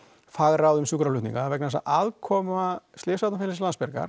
fagráð um sjúkraflutninga vegna þess að aðkoma slysavarnarfélagsins